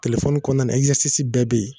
Telefɔni kɔnɔna na ɛzɛsisi bɛɛ be yen